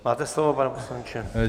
Máte slovo, pane poslanče.